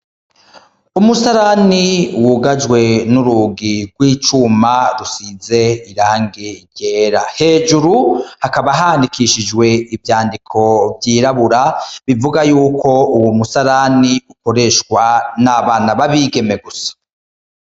Umusarani wugaje nurugi rw'icuma rusize irangi ryera hejuru hakaba handitswe ivyandiko bivuga ko uwo musarani ukoreshwa nabana b'abigeme gusa.